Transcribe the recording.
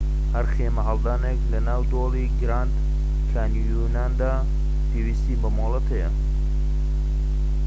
هەر خێمەهەڵدانێك لە ناو دۆڵی گراند کانیۆندا پێویستی بە مۆڵەت هەیە